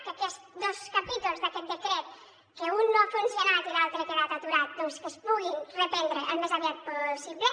que aquest dos capítols d’aquest decret que un no ha funcionat i l’altre ha quedat aturat doncs que es puguin reprendre al més aviat possible